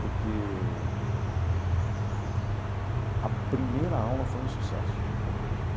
Porque a primeira aula foi um sucesso.